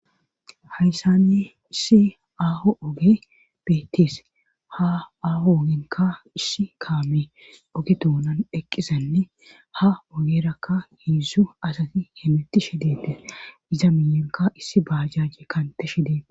Hayssani issi aaho oge beettis ha aho ogenka issi kaame oge duunan eqqisanne ha ogerakka hiidzzzu asati hemitti shideete iza miyonka issi baajajje kante shidee